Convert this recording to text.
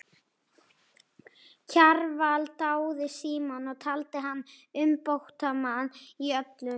Kjarval dáði Símon og taldi hann umbótamann í öllu.